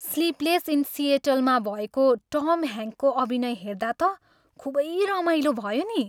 "Sleepless in Seattle" मा भएको Tom ह्याङ्कको अभिनय हेर्दा त खुबै रमाइलो भयो नि।